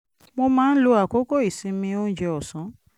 mo máa ń lo àkókò ìsinmi oúnjẹ ọ̀sán